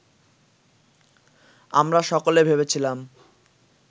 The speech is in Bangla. আমরা সকলে ভেবেছিলাম